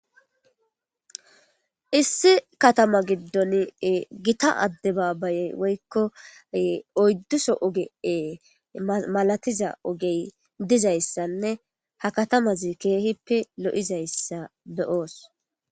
Issi katama gidon gitta ade babayey woyiko oyiduso oge malatiza ogeyi dizaysanee ha katamazi kehipe loizayisa be'os